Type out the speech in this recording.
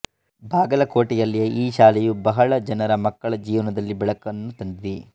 ಬಾಗಲಕೊಟೆಯಲ್ಲಿಯ ಈ ಶಾಲೆಯು ಬಹಳ ಜನರ ಮಕ್ಕಳ ಜೀವನದಲ್ಲಿ ಬೆಳಕನ್ನು ತಂದಿದೆ